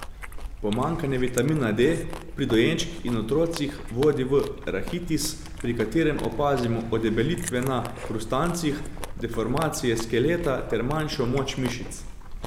Pomanjkanje vitamina D pri dojenčkih in otrocih vodi v rahitis, pri katerem opazimo odebelitve na hrustancih, deformacije skeleta ter manjšo moč mišic.